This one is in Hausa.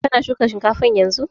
Kana shuka shinkafan yanzun?